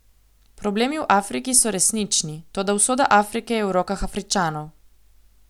Problemi v Afriki so resnični, toda usoda Afrike je v rokah Afričanov.